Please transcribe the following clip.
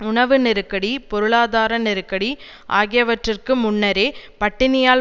உணவு நெருக்கடி பொருளாதார நெருக்கடி ஆகியவற்றிற்கு முன்னரே பட்டினியால்